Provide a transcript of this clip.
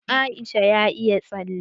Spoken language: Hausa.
Ɗan Aisha ya iya tsale.